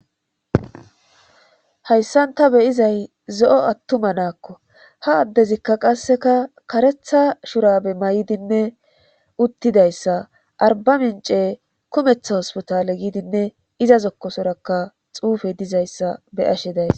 hayssan ta beyizay zo7o attuma naakko ha addezikka qasseka karetha shurabe may7idinne uttidayssa arba mince kumetha hospitaale gidinne iza zokkosorakka xuufe dizayssa bey ashe days